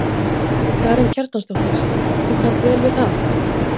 Karen Kjartansdóttir: Þú kannt vel við það?